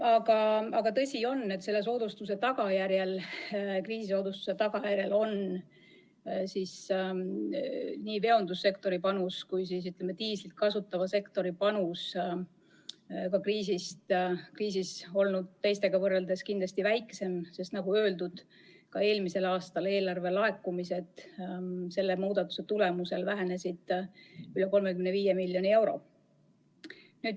Aga on tõsi, et selle kriisisoodustuse tagajärjel on nii veondussektori kui ka diislit kasutava sektori panus olnud kriisi ajal teistega võrreldes väiksem, sest, nagu öeldud, eelmisel aastal vähenesid selle muudatuse tõttu eelarvelaekumised üle 35 miljoni euro.